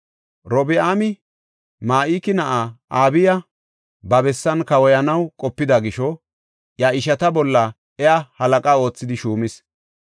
Robi7aami Ma7iki na7aa Abiya ba bessan kawoyanaw qopida gisho iya ishata bolla iya halaqa oothidi shuumis.